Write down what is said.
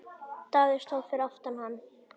Daði stóð fyrir aftan hann.